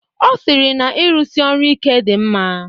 Ọ sịrị na-irụsi ọrụ ike dị mma.